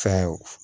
Fɛn